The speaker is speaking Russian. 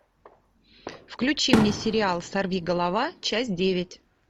включи мне сериал сорвиголова часть девять